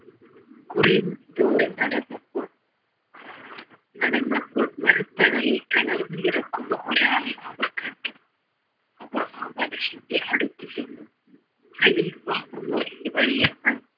കുറെ ദൂരം നടന്നപ്പോൾ നടന്നപ്പോൾ മര തണലിൽ തളർന്നു കിടക്കുന്ന ഒരാളെ അവർ കണ്ടു അവർ ആ മനുഷ്യൻ്റെ അടുത്തുചെന്നു ഖലീഫ ഉമറിൻ്റെ വഴി